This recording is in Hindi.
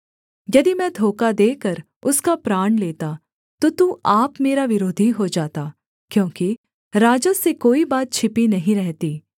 यदि मैं धोखा देकर उसका प्राण लेता तो तू आप मेरा विरोधी हो जाता क्योंकि राजा से कोई बात छिपी नहीं रहती